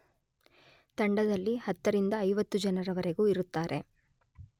ತಂಡದಲ್ಲಿ ಹತ್ತರಿಂದ ಐವತ್ತು ಜನರವರೆಗೂ ಇರುತ್ತಾರೆ.